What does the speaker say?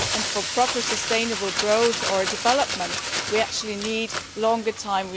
For proper, sustainable growth and development we actually need more time